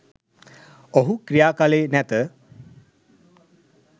ඔහු ක්‍රියාකළේ නැත